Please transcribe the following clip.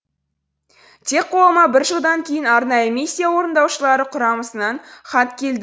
тек қолыма бір жылдан кейін арнайы миссия орындаушылары құрамасынан хат келді